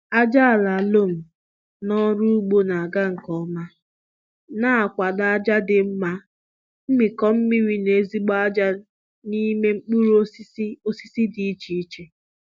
Ájá àlà lom na ọrụ ugbo na ga nke ọma, na kwado ájá dị mma, mmikọ mmiri na ezigbo ájá n'ime mkpụrụ osisi osisi dị iche iche